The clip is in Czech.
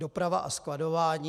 Doprava a skladování.